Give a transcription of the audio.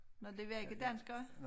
Nåh de var ikke danskere